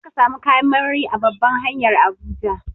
Za ka samu kayan marmari a babban hanyar Abuja.